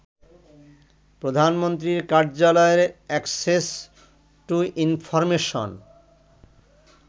প্রধানমন্ত্রীর কার্যালয়ের access to information